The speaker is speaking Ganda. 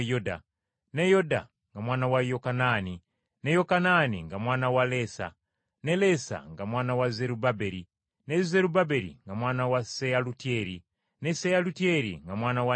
ne Yoda nga mwana wa Yokanaani, ne Yokanaani nga mwana wa Lesa, ne Lesa nga mwana wa Zerubbaberi, ne Zerubbaberi nga mwana wa Seyalutyeri, ne Seyalutyeri nga mwana wa Neeri,